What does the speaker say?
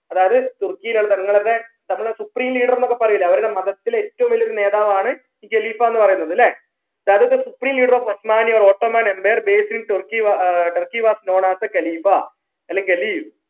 അതായത് തുർക്കിയിലെ തങ്ങളെ supreme leader ന്നൊക്കെ പറയൂലേ അവരുടെ മതത്തിലെ ഏറ്റവും വലിയ ഒരു നേതാവാണ് ഈ ഖലീഫ എന്ന് പറയുന്നത് ല്ലേ that is the supreme leader of ottoman empire based in Tur Turkey was known as the ഖലീഫ അല്ലെങ്കിൽ